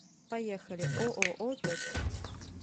поехали ооо точка